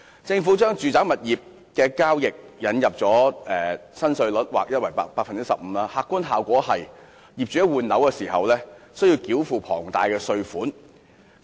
政府為住宅物業交易引入 15% 的劃一從價印花稅新稅率，客觀效果是業主在換樓時需要繳付龐大的稅款。